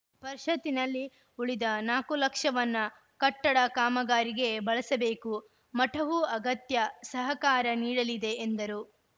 ಪರಿಷತ್ತಿನಲ್ಲಿ ಉಳಿದ ನಾಲ್ಕು ಲಕ್ಷವನ್ನ ಕಟ್ಟಡ ಕಾಮಗಾರಿಗೆ ಬಳಸಬೇಕು ಮಠವೂ ಅಗತ್ಯ ಸಹಕಾರ ನೀಡಲಿದೆ ಎಂದರು